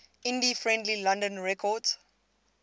indie friendly london records